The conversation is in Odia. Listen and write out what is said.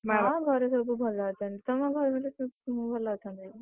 ନାଁ ଘରେ ସବୁ ଭଲ ଅଛନ୍ତି, ତମ ଘର, ସବୁ ଭଲ ଅଛନ୍ତି?